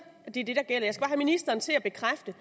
gælder jeg skal bare have ministeren til at bekræfte